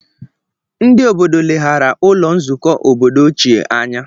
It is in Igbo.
Ndị obodo leghaara ụlọ nzukọ obodo ochie anya